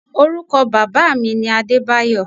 Orúkọ bàbáà mi ni Adébáyọ̀